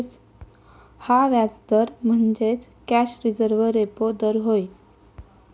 हा व्याजदर म्हणजेच कॅश रिझर्व्ह रेपो दर होय.